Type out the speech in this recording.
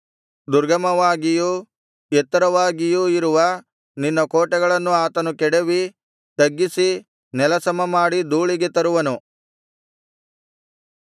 ದುರ್ಗಮವಾಗಿಯೂ ಎತ್ತರವಾಗಿಯೂ ಇರುವ ನಿನ್ನ ಕೋಟೆಗಳನ್ನು ಆತನು ಕೆಡವಿ ತಗ್ಗಿಸಿ ನೆಲ ಸಮಮಾಡಿ ಧೂಳಿಗೆ ತರುವನು